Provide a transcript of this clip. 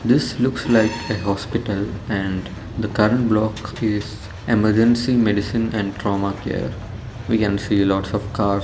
this looks like a hospital and the current block is emergency medicine and trauma care we can see lots of cars.